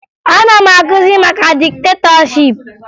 Ana m akụzi maka diktetọship